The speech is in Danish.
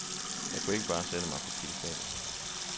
Jeg kunne ikke bare sætte mig på piedestalen.